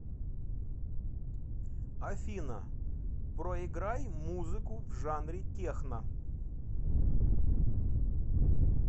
афина проиграй музыку в жанре техно